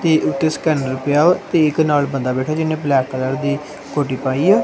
ਤੇ ਇੱਕ ਸਕੈਨਰ ਪਿਆ ਵਾ ਤੇ ਇੱਕ ਨਾਲ ਬੰਦਾ ਬੈਠਾ ਜਿਹਨੇ ਬਲੈਕ ਕਲਰ ਦੀ ਹੁੱਡੀ ਪਾਈ ਆ।